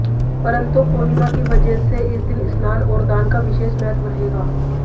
परंतु पूर्णिमा की वजह से इस दिन स्नान और दान का विशेष महत्व रहेगा